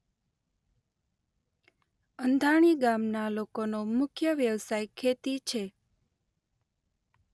અંધાણી ગામના લોકોનો મુખ્ય વ્યવસાય ખેતી છે.